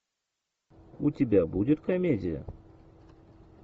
у тебя будет комедия